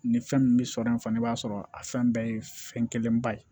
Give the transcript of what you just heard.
Ni fɛn min bɛ sɔrɔ yen fana i b'a sɔrɔ a fɛn bɛɛ ye fɛn kelen ba ye